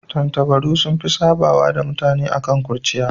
Tattabaru sun fi sabawa da mutane akan kurciya.